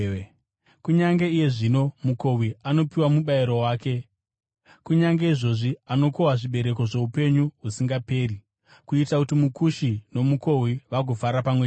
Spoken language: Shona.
Kunyange iye zvino mukohwi anopiwa mubayiro wake, kunyange izvozvi anokohwa zvibereko zvoupenyu husingaperi, kuitira kuti mukushi nomukohwi vagofara pamwe chete.